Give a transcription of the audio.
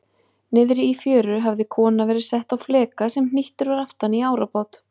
Niðri í fjöru hafði kona verið sett á fleka sem hnýttur var aftan í árabát.